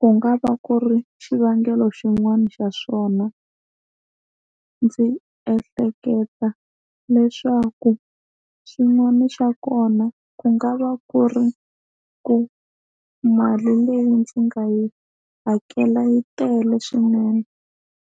ku nga va ku ri xivangelo xin'wani xa swona ndzi ehleketa leswaku xin'wana xa kona ku nga va ku ri ku mali leyi ndzi nga yi hakela yi tele swinene.